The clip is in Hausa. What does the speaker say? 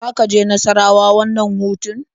Za ka je Nassarawa wannan hutun?